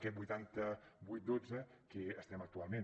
aquest vuitanta vuit dotze que estem actualment